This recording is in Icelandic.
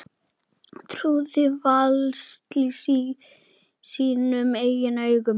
Trúði varla sínum eigin augum.